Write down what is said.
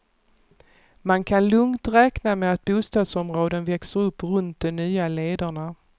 Man kan lugnt räkna med att bostadsområden växer upp runt de nya lederna.